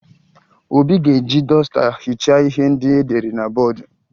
Obi ga-eji dọsta hichaa ihe ndị edere na bọọdụ